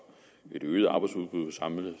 et øget arbejdsudbud på samlet